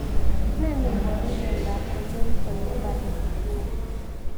Ne neiparu miandopCongenital labor emphysema